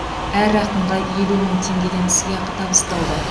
әр ақынға елу мың теңгеден сыйақы табысталды